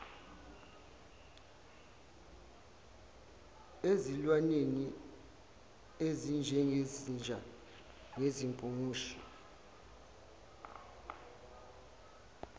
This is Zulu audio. ezilwaneni ezinjengezinja izimpungushe